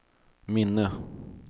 minne